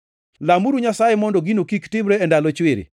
Lamuru Nyasaye mondo gino kik timre e ndalo chwiri,